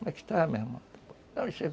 E aí, cara, como é que está, meu irmão?